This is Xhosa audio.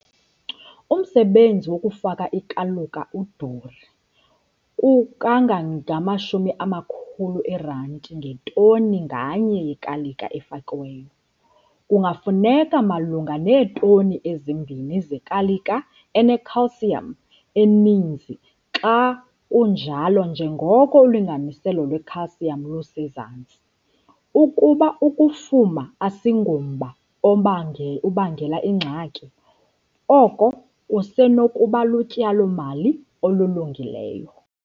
Umsebenzi wokufaka ikaluka uduru kangange-R500 ngetoni nganye yekalika efakiweyo. Kungafuneka malunga neetoni ezimbini zekalika ene-calcium eninzi xa kunjalo njengoko ulinganiselo lwe-calcium lusezantsi. Ukuba ukufuma asingomba ubangela ingxaki, oku kusenokuba lutyalo-mali olulungileyo.